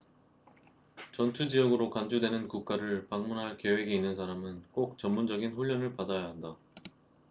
전투 지역으로 간주되는 국가를 방문할 계획이 있는 사람은 꼭 전문적인 훈련을 받아야 한다